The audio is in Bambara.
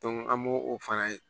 an m'o o fana ye